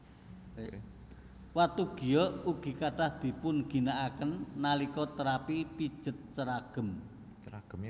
Watu giok ugi kathah dipunginakaken nalika terapi pijet ceragem